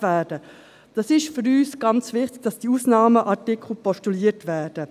Für uns ist sehr wichtig, dass diese Ausnahmeartikel postuliert werden.